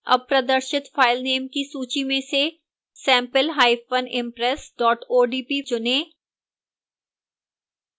अब प्रदर्शित filenames की सूची में से sampleimpress odp चुनें